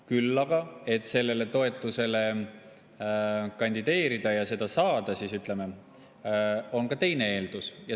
Küll aga, et sellele toetusele kandideerida ja seda saada, on ka teine eeldus.